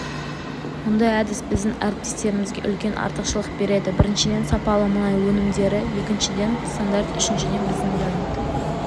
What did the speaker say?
мұндай әдіс біздің әріптестерімізге үлкен артықшылық береді біріншіден сапалы мұнай өнімдері екіншіден стандарт үшіншіден біздің бренд